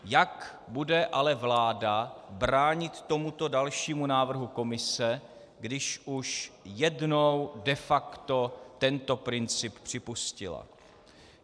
Jak bude ale vláda bránit tomuto dalšímu návrhu Komise, když už jednou de facto tento princip připustila?